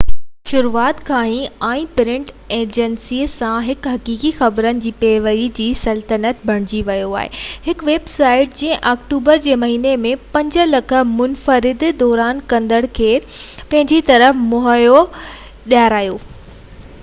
ان جي شروعات کان ئي، آنين پرنٽ ايڊيشن سان، هڪ حقيقي خبرن جي پيروڊي جي سلطنت بڻجي ويو آهي، هڪ ويب سائيٽ جنهن آڪٽوبر جي مهيني ۾ 5,000,000 منفرد دورو ڪندڙن کي پنهنجي طرف موهيو، ذاتي اشتهار، 24 ڪلاڪ نيوز نيٽورڪ، پوڊڪاسٽ، ۽ تازو لانچ ٿيل دنيا جي نقشن جو ڪتاب جنهن جو نالو ڊمپ ورلڊ رکيو ويو